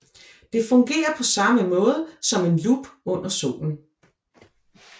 Det fungerer på samme måde som en lup under solen